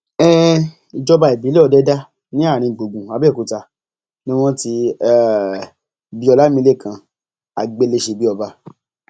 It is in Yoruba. um ìjọba ìbílẹ òdẹdà ní arìngbùngbùn abẹọkúta ni wọn ti um bí ọlámilekan àgbéléṣebíọba